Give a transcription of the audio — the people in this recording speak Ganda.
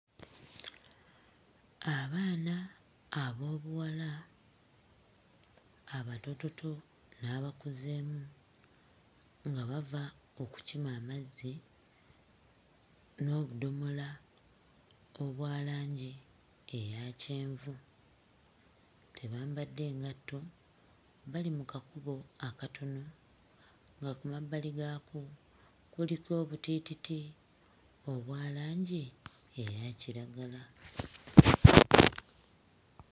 Abaana ab'obuwala abatoototo n'abakuzeemu nga bava okukima amazzi n'obudomola obwa langi eya kyenvu. Tebambadde ngatto bali mu kakubo akatono nga ku mabbali gaako kuliko obutiititi obwa langi eya kiragala.